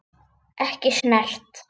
Ekki snert.